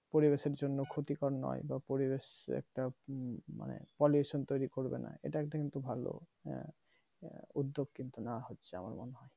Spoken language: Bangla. পরিবেশের জন্য ক্ষতিকারক নোই বা পরিবেশ একটা মানে pollution তৈরি করবেনা এটা একটা কিন্তু ভালো হ্যাঁ উদ্যোগ কিন্তু নেওয়া হচ্ছে আমার মনে হয়